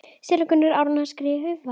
Séra Gunnar Árnason skrifar